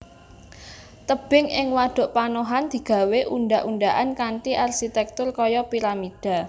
Tebing ing wadhuk panohan digawé undhak undhakan kanthi arsitèktur kaya piramida